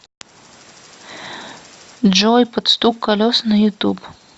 джой под стук колес на ютуб